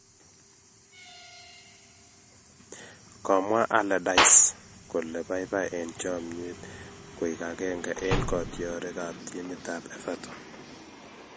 komwa Allardyce kole paipai en chomyet koig agenge en kotiorig ap timit ap Everton